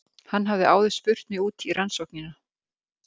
Hann hafði áður spurt mig út í rannsóknina.